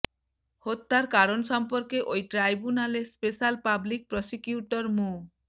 হত্যার কারণ সম্পর্কে ওই ট্রাইব্যুনালে স্পেশাল পাবলিক প্রসিকিউটর মো